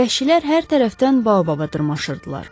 Vəhşilər hər tərəfdən baobaba dırmaşırdılar.